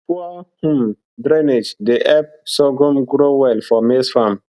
poor drainage dey help sorghum grow well for maize farm